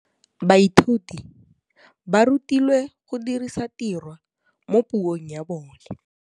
Baithuti ba rutilwe go dirisa tirwa mo puong ya bone.